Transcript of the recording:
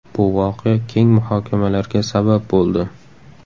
Bu voqea keng muhokamalarga sabab bo‘ldi.